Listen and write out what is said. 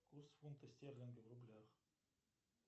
курс фунта стерлинга в рублях